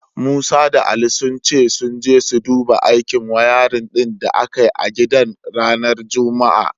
Musa da Ali sun ce sun je su duba aikin wayarin din da aka yi a gidan ranar Juma'a.